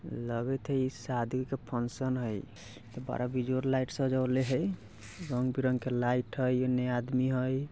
लागत हई इ शादी का फंक्शन हई। बरा बिजोड़ लाईट सजावल हई। रंग-बिरंगे लाईट हई। एने आदमी हई।